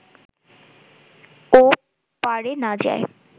ও-পারে না যায়